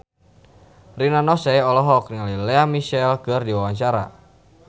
Rina Nose olohok ningali Lea Michele keur diwawancara